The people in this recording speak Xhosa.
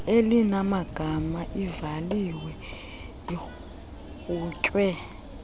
elinamagama ivaliwe iqhutywe